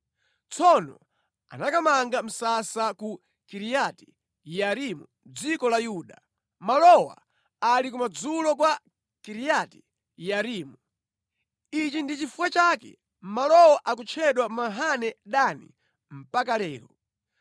Tsono anakamanga msasa ku Kiriati-Yearimu mʼdziko la Yuda. Malowa ali kumadzulo kwa Kiriati-Yearimu. Ichi ndi chifukwa chake malowo akutchedwa Mahane Dani mpaka lero.